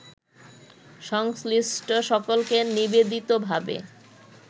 সংশ্লিষ্ট সকলকে নিবেদিতভাবে